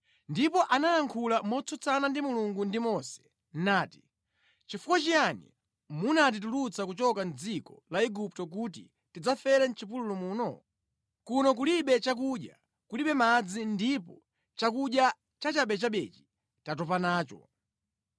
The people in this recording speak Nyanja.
ndipo anayankhula motsutsana ndi Mulungu ndi Mose, nati, “Chifukwa chiyani munatitulutsa kuchoka mʼdziko la Igupto kuti tidzafere mʼchipululu muno? Kuno kulibe chakudya, kulibe madzi ndipo chakudya cha chabechabechi tatopa nacho.”